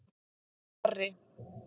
Barri